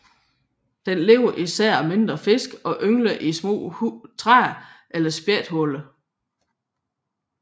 Den lever især af mindre fisk og yngler i hule træer eller spættehuller